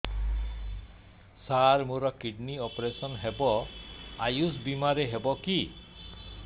ସାର ମୋର kidney operation ହେବ ଆୟୁଷ ବିମାରେ ହେବ କି